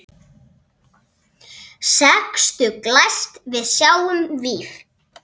Sextugt glæst við sjáum víf.